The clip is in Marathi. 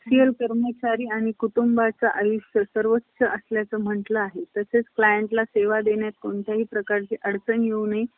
व्य~ अं व्यधीचा~ विधिचारावर पांघरून घालण्याकरिता पुनर्विवाह केला. हे लग्न फार काळ टिकणार नाही. अशा अनेक कडवट,